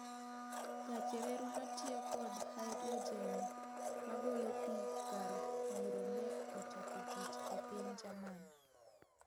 Gach reru matiyo kod haidrojen magolo pii kar yiro ne ochako tich epiny Jerman.